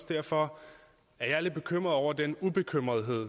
derfor jeg er lidt bekymret over den ubekymrethed